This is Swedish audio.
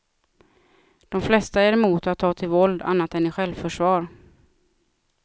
De flesta är emot att ta till våld, annat än i självförsvar.